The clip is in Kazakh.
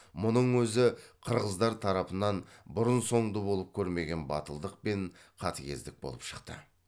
мұның өзі қырғыздар тарапынан бұрын соңды болып көрмеген батылдық пен қатыгездік болып шықты